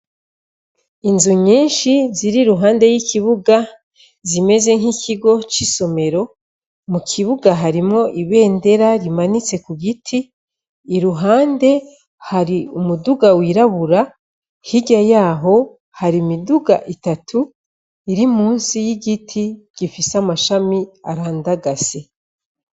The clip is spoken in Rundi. Inzu nyinshi ziri ruhande y'ikibuga zimeze nk'ikigo c'isomero mu kibuga harimo ibendera rimanitse ku giti i ruhande hari umuduga wirabura hirya yaho hari miduga itatu iri musi y'igiti giee isi amashami arandagase.